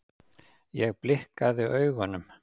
Ég blikkaði augunum.